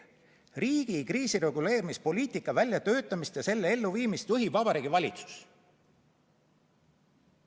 Riigi kriisireguleerimispoliitika väljatöötamist ja selle elluviimist juhib Vabariigi Valitsus.